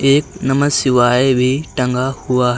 एक नमः शिवाय भी टंगा हुआ है।